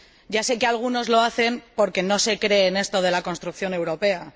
Ya sé que algunos lo hacen porque no se creen esto de la construcción europea.